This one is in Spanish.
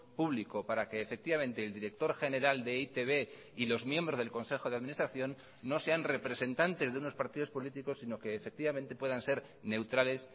público para que efectivamente el director general de e i te be y los miembros del consejo de administración no sean representantes de unos partidos políticos sino que efectivamente puedan ser neutrales